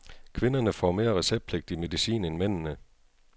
Kvinderne får mere receptpligtig medicin end mændene.